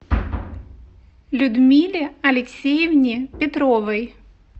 людмиле алексеевне петровой